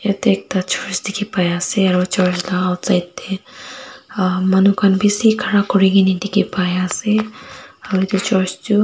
yatae ekta church dikhipaiase aro church laka outside tae manu khan bishi khara kurikaena dikhipaiase aro edu church tu.